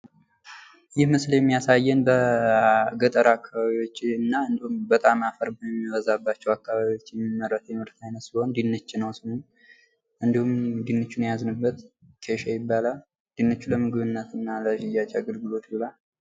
ይህ ምስል የሚያሳየን በገጠር አካባቢዎች እና በጣም አፈር በሚበዛባቸው አካባቢዎች የሚመረት የምርት አይነት ሲሆን ድንች ነው ስሙ። እንዲሁም ድንቹን የያዝንበት ኬሻ ይባላል ።ድንቹ ለምግብነት እና ለሽያጭ አገልግሎት ይውላል።